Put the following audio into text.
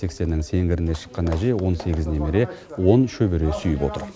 сексеннің сеңгіріне шыққан әжей он сегіз немере он шөбере сүйіп отыр